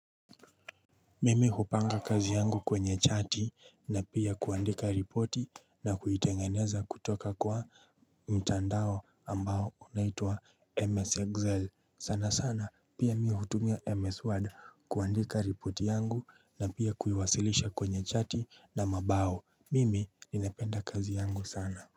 Mimi hupanga kazi yangu kwenye chati na pia kuandika ripoti na kuitengeneza kutoka kwa mtandao ambao unaitua MS Excel. Sanasana pia mihutumia MS Word kuandika ripoti yangu na pia kuiwasilisha kwenye chati na mabao. Mimi ninapenda kazi yangu sana.